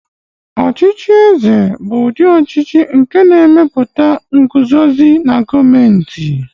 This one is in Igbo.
Ọchịchị eze bụ ụdị ọchịchị nke na-emepụta nguzozi na gọọmentị.